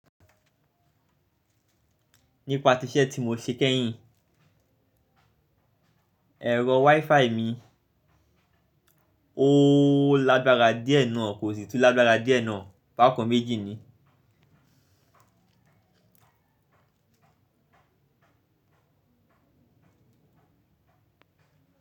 Nípa tiṣẹ́ tí mo ṣe kẹ́yìn, ẹ̀rọ WiFi mi ó lágbára díẹ̀ náà kò sì tún lágbára díẹ̀ náà, bákan méjì ni.